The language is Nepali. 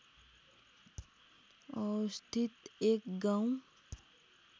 अवस्थित एक गाउँ